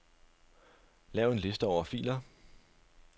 Lav en liste over filer.